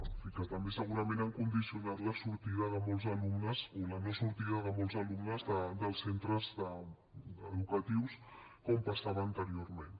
en fi també segurament han condicionat la sortida de molts alumnes o la no sortida de molts alumnes dels centres educatius com passava anteriorment